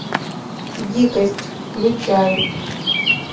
дикость включай